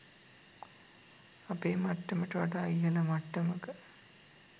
අපේ මට්ටමට වඩා ඉහල මට්ටමක